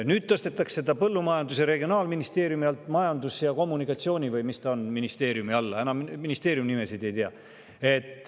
Nüüd tõstetakse see Regionaal- ja Põllumajandusministeeriumi alt Majandus- ja Kommunikatsiooni… või mis ta ongi, selle ministeeriumi alla – ministeeriumi nimesid enam ei tea.